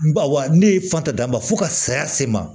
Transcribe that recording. Bawo ne ye fatan ma fo ka saya se n ma